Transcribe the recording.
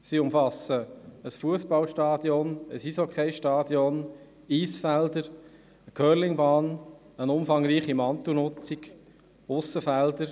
Der Komplex umfasst ein Fussballstadion, ein Eishockeystadion, Eisfelder, eine Curling-Bahn, eine umfangreiche Mantelnutzung sowie Aussenfelder.